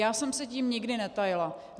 Já jsem se tím nikdy netajila.